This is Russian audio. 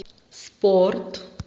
спорт